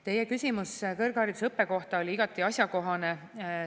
Teie küsimus kõrgharidusõppe kohta oli igati asjakohane.